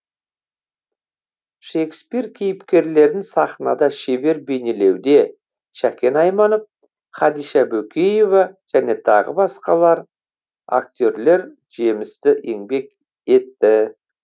шекспир кейіпкерлерін сахнада шебер бейнелеуде шәкен айманов хадиша бөкеева және тағы басқалар актерлер жемісті еңбек етті